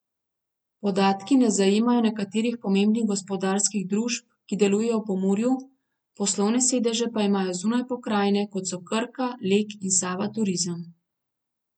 Podatki ne zajemajo nekaterih pomembnih gospodarskih družb, ki delujejo v Pomurju, poslovne sedeže pa imajo zunaj pokrajine, kot so Krka, Lek in Sava Turizem.